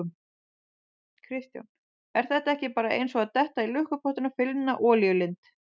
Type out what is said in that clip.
Kristján: Er þetta ekki bara eins og að detta í lukkupottinn og finna olíulind?